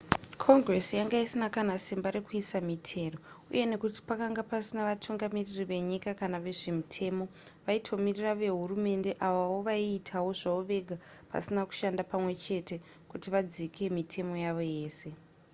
congress yanga isina kana simba rekuisa mitero uye nekuti pakanga pasina vatungamiriri venyika kana vezvemutemo vaitomirira vehurumende avawo vaiitawo zvavo vega pasina kushanda pamwechete kuti vadzike mitemo yavo yese